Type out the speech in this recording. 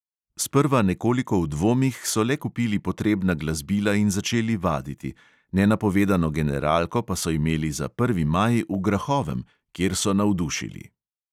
Sprva nekoliko v dvomih so le kupili potrebna glasbila in začeli vaditi, nenapovedano generalko pa so imeli za prvi maj v grahovem, kjer so navdušili.